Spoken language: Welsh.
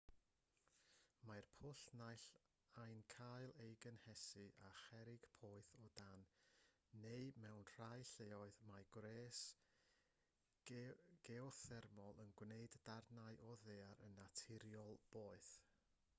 mae'r pwll naill ai'n cael ei gynhesu â cherrig poeth o dân neu mewn rhai lleoedd mae gwres geothermol yn gwneud darnau o ddaear yn naturiol boeth